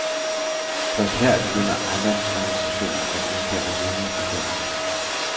Først her begynder ejendomsadministrationen at indkalde vidner til sagen.